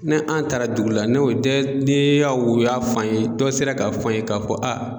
Ne an taara dugu la nu dɔ ne y'a ye u y'a f'an ye dɔ sera k'a f'an ye k'a fɔ